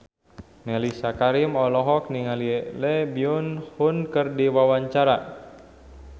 Mellisa Karim olohok ningali Lee Byung Hun keur diwawancara